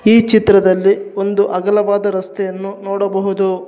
ಈ ಚಿತ್ರದಲ್ಲಿ ಒಂದು ಅಗಲವಾದ ರಸ್ತೆಯನ್ನು ನೋಡಬಹುದು.